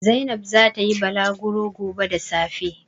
Zainab za ta yi balagro gobe da safe.